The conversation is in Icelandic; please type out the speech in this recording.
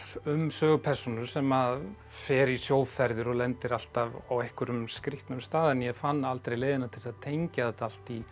um sögupersónu sem að fer í sjóferðir og lendir alltaf á einhverjum skrýtnum stað en ég fann aldrei leiðina til að tengja þetta allt í